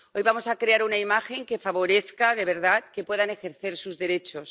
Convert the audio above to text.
Hoy vamos a crear una imagen que favorezca de verdad que puedan ejercer sus derechos.